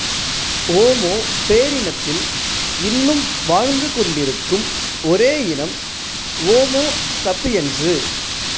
ஓமோ பேரினத்தில் இன்னும் வாழ்ந்துகொண்டிருக்கும் ஒரே இனம் ஓமோ சப்பியென்சு